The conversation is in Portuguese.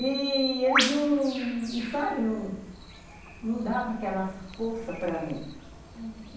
E... eles não davam aquela força para mim, uhum.